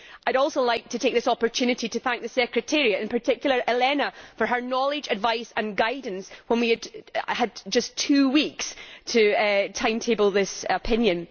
I would also like to take this opportunity to thank the Secretariat, and in particular Elena, for her knowledge, advice and guidance when we had just two weeks to timetable this opinion.